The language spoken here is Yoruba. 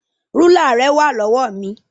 Rúlà rẹ wà lọ́wọ́ mi.